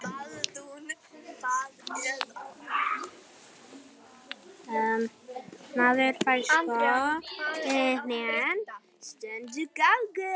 Þessi stelpa úr Reykjavík var sko ekkert blávatn.